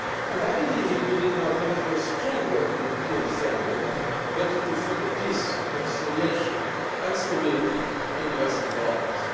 I believe it will lead not only to a stronger European family but to further peace, reconciliation and stability in the Western Balkans.